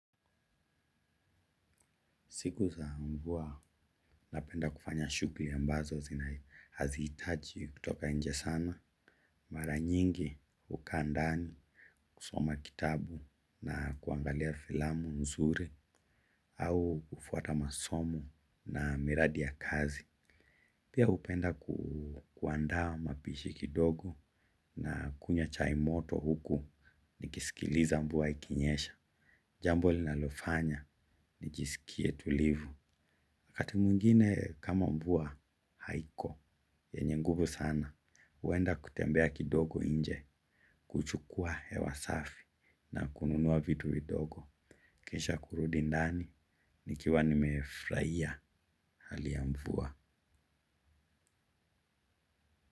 Siku za mvua na penda kufanya shukuli ambazo zina hazitaji kutoka nje sana. Mara nyingi hukaa ndani kusoma kitabu na kuangalia filamu nzuri au kufuata masomo na miradi ya kazi. Pia upenda kuandaa mapishi kidogo na kunywa chaimoto huku nikisikiliza mvua ikinyesha. Jambo linalofanya nijisikie tulivu. Akati mwingine kama mbuwa, haiko, yenye guvu sana, uenda kutembea kidogo inje, kuchukua hewa safi, na kununuwa vitu vidogo, kisha kurudi ndani, nikiwa nimefraia, halia mvua.